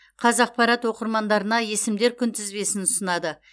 қазақпарат оқырмандарына есімдер күнтізбесін ұсынады